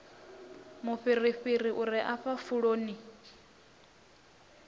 mufhirifhiri u re afha pfuloni